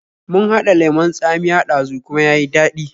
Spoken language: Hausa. Mun haɗa lemon tsamiya ɗazu kuma ya yi daɗi